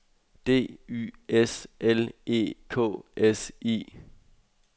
D Y S L E K S I